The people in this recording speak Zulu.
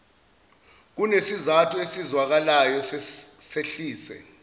kunesizathu esizwakalayo sehlise